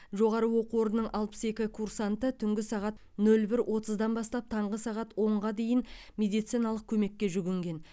жоғары оқу орнының алпыс екі курсанты түнгі сағат нөл бір отыздан бастап таңғы сағат онға дейін медициналық көмекке жүгінген